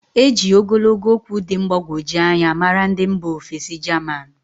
E jírí ogologo okwu dị mgbagwoju anya maara ndị mba ofesi jaman.